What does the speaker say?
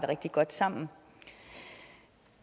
rigtig godt sammen